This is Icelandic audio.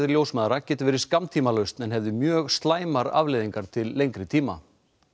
ljósmæðra geti verið skammtímalausn en hefðu mjög slæmar afleiðingar til lengri tíma